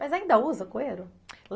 Mas ainda usa coeiro?